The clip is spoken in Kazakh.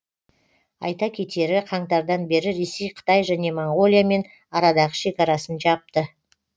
айта кетері қаңтардан бері ресей қытай және моңғолиямен арадағы шекарасын жапты